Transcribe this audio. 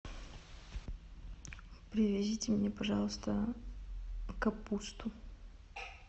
привезите мне пожалуйста капусту